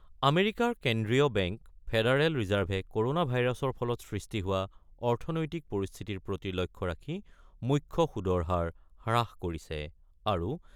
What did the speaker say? আমেৰিকাৰ কেন্দ্ৰীয় bank federal ৰিজাৰ্ভে কৰনা ভাইৰাছৰ ফলত সৃষ্টি হোৱা অৰ্থনৈতিক পৰিস্থিতিৰ প্ৰতি লক্ষ্য ৰাখি মুখ্য সুদৰ হাৰ হ্ৰাস কৰিছে। আৰু